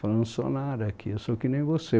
Falei, não sou nada aqui, eu sou que nem você.